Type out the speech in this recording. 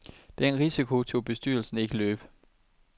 Den risiko turde bestyrelsen ikke løbe.